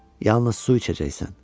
Yalnız su içəcəksən.